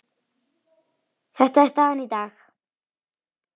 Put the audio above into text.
Þetta er staðan í dag.